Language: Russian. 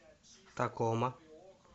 такома